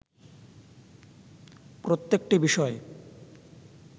প্রত্যেকটি বিষয়